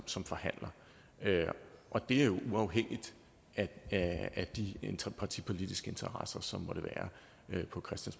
som forhandler og det er jo uafhængigt af de partipolitiske interesser som måtte være